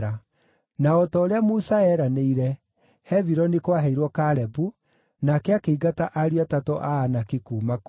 Na o ta ũrĩa Musa eeranĩire, Hebironi kwaheirwo Kalebu, nake akĩingata ariũ atatũ a Anaki kuuma kuo.